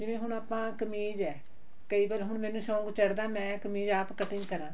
ਜਿਵੇਂ ਹੁਣ ਆਪਾਂ ਕਮੀਜ਼ ਆ ਕਈ ਵਾਰ ਹੁਣ ਮੈਨੂੰ ਸ਼ੋਂਕ ਚੜਦਾ ਮੈਂ ਕਮੀਜ਼ ਆਪ cutting ਕਰਾਂ